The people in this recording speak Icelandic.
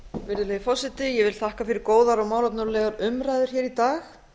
virðulegi forseti ég vil þakka fyrir góðar og málefnalegar umræður hér í dag